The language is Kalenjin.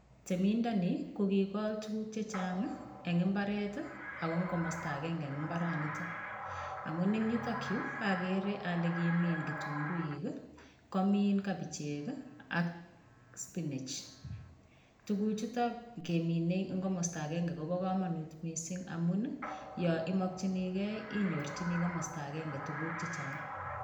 Temindoni, ko kigol tuguk chechang eng imbaret, ako komasta agenge en mbaranitok. Amun en yutokyu, agere ale kimin kitunguik, komin kabichek, ak spinech. Tuguk chutok kemine eng komasta agenge kobo kamanut mising amun yoimakchinikei, inyorchini komasto agenge, tuguk chechang